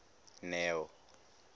neo